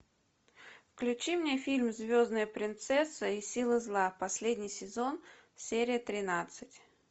включи мне фильм звездная принцесса и силы зла последний сезон серия тринадцать